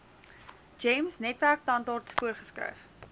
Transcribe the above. gems netwerktandarts voorgeskryf